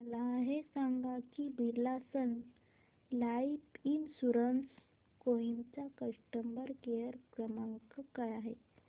मला हे सांग की Birla sun life insurance Kohima चा कस्टमर केअर क्रमांक काय आहे